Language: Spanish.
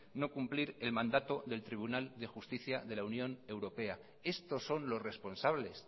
no cumplir el mandato del tribunal de justicia de la unión europea estos son los responsables